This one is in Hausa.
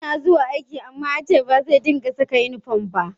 Yana zuwa aiki amma ya ce ba zai dinga saka inifom ba